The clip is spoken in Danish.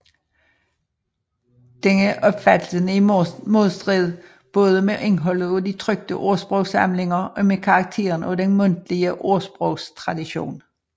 Denne opfattelse er i modstrid både med indholdet af de trykte ordsprogssamlinger og med karakteren af den mundtlige ordsprogstradition